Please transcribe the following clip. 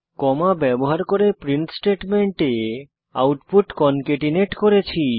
কমা ব্যবহার করে প্রিন্ট স্টেটমেন্টে আউটপুট কনকেটেনট করেছি